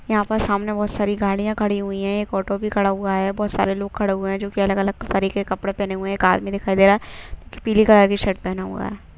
यहाँ पर सामने बहुत सारी गाड़ियाँ खड़ी हुई है एक ऑटो भी खड़ा हुआ है बहुत सारे लोग खड़े हुए है जोकि अलग अलग तरीके के कपड़े पहने हुए है एक आदमी दिखाई दे रहा है पीली कलर की शर्ट पहना हुआ है।